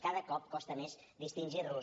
cada cop costa més distingir los